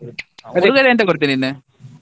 ಎಂತ ಕೊಡ್ತಿ ನೀನು?